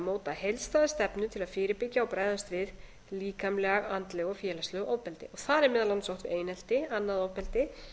að móta heildstæða stefnu til að fyrirbyggja og bregðast við líkamlegu andlegu og félagslegu ofbeldi þar er meðal annars átt við einelti annað ofbeldi